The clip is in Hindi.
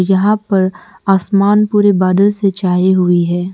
यहां पर आसमान पूरे बादल से छाई हुई है।